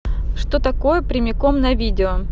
что такое прямиком на видео